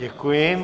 Děkuji.